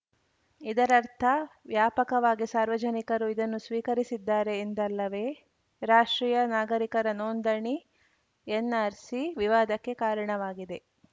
ಇದರರ್ಥ ವ್ಯಾಪಕವಾಗಿ ಸಾರ್ವಜನಿಕರು ಇದನ್ನು ಸ್ವೀಕರಿಸಿದ್ದಾರೆ ಎಂದಲ್ಲವೇ ರಾಷ್ಟ್ರೀಯ ನಾಗರಿಕರ ನೋಂದಣಿ ಎನ್‌ಆರ್‌ಸಿ ವಿವಾದಕ್ಕೆ ಕಾರಣವಾಗಿದೆ